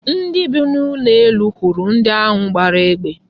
Ndị bi n'ụlọ elu hụrụ ndi ahụ gbara egbe.